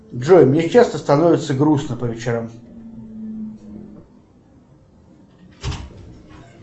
джой мне часто становится грустно по вечерам